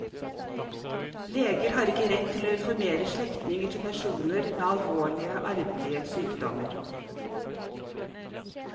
Leger har ikke rett til å informere slektninger til personer med alvorlige arvelige sykdommer.